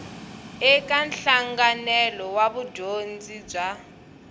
eka nhlanganelo wa vudyondzi bya